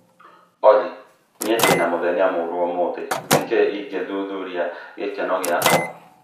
Olly niĩ ndĩ na mũthenya mũũru ũmũthĩ nĩ kĩĩ ingĩthuthuria gĩkeno gĩakwa